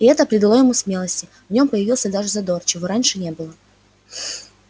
и это придало ему смелости в нём появился даже задор чего раньше не было